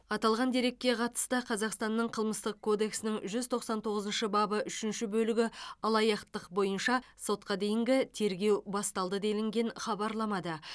аталған дерекке қатысты қазақстанның қылмыстық кодексінің жүз тоқсан тоғызыншы бабы үшінші бөлігі алаяқтық бойынша сотқа дейінгі тергеу басталды делінген хабарламада